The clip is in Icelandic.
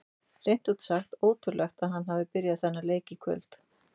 Hreint út sagt ótrúlegt að hann hafi byrjað þennan leik í kvöld.